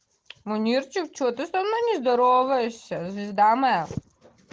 мунирчик что ты со мной не здороваешься звезда моя